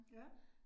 Ja